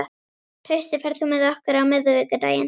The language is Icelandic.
Trausti, ferð þú með okkur á miðvikudaginn?